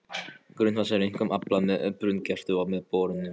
Grunnvatns er einkum aflað með brunngrefti eða borunum.